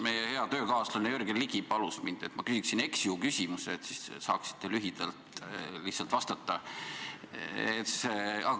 Meie hea töökaaslane Jürgen Ligi palus mind, et ma küsiksin eks-ju-küsimuse, et te saaksite lühidalt vastata.